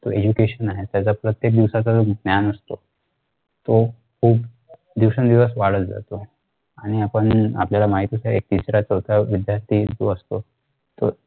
education आहे पहिले प्रत्येक दिवसाच्या ज्ञान असतो तो खूप दिवसान दिवस वाढत जाते आणि आपण आपल्याला माहिती नाही की ते तिसरा चौथा च्या विद्यार्थी असतो त आ